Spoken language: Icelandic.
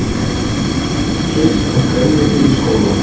Lítið keypt af grænmeti í skólana